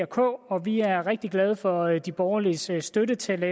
k og vi er rigtig glade for de borgerliges støtte til at lave